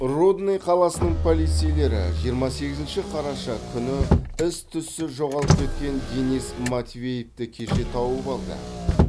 рудный қаласының полицейлері жиырма сегізінші қараша күні із түзсіз жоғалып кеткен денис матвеевті кеше тауып алды